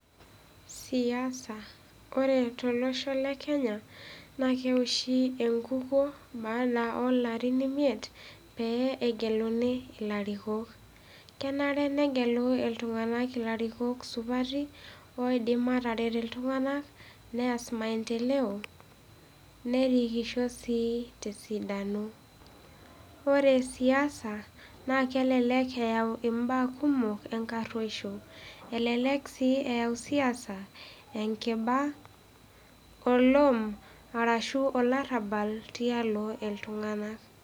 Siasa Ore tolosho lekenya, naa keoshi enkukuo baada oolarin imiet, pee egeluni ilarikok. Kenare negelu iltung'anak ilarikok supati oiidim aatarek iltung'anak, neas maendeleo, nerikisho sii tesidano. Ore siasa, naa kelelek eeu imbaa kumok enkarrueisho. Elelek sii eeu siasa enkiba, olom arashu olarrabal tialo iltung'anak